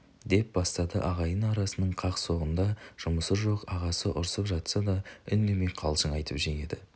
деп бастады ағайын арасының қақ-соғында жұмысы жоқ ағасы ұрсып жатса да үндемейді қалжың айтып жеңеді